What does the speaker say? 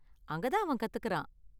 அங்க தான் அவன் கத்துகிறான் .